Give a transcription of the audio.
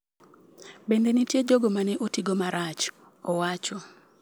Bende nitie jogo ma ne oti go marach'', owacho.